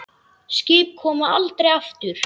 Skip koma aldrei aftur.